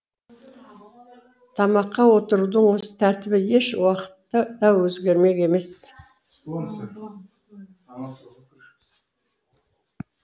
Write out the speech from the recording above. тамаққа отырудың осы тәртібі еш уақытта да өзгермек емес